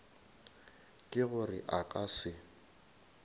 ke gore a ka se